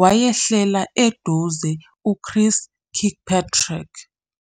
wayehlela eduze uChris Kirkpatrick.